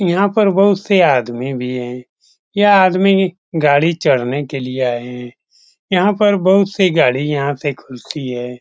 यहाँ पर बहुत से आदमी भी है। यह आदमी गाड़ी चढ़ने के लिए आए है यहाँ पे बहुत से गाड़िया ते घुसी है।